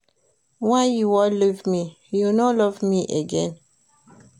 Why you wan leave me, you no love me again?